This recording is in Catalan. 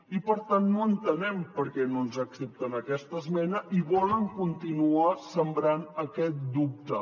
i per tant no entenem per què no ens accepten aquesta esmena i volen continuar sembrant aquest dubte